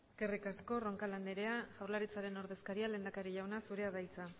eskerrik asko roncal andrea jaurlaritzaren ordezkariak lehendakari jauna zurea da hitza